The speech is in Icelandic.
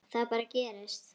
Það bara gerist.